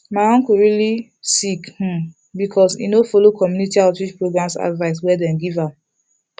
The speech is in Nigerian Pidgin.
my uncle fall really sick um because he no follow community outreach programs advice wey dem give am